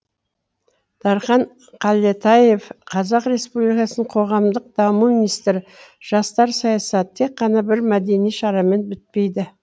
дархан қалетаев қазақ республикасының қоғамдық даму министрі жастар саясаты тек қана бір мәдени шарамен бітпейді